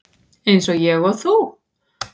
Eins og ég og þú.